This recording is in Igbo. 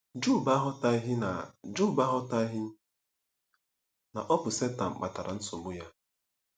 Job aghọtaghị na Job aghọtaghị na ọ bụ Setan kpatara nsogbu ya.